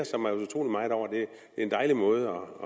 en dejlig måde